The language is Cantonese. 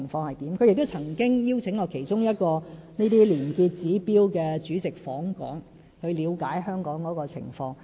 例如我們亦曾邀請其中一位廉潔指標主席訪港，以了解香港的情況。